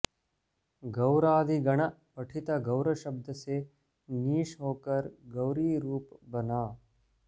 गौरादि गण पठित गौर शब्द से ङीष् होकर गौरी रूप बना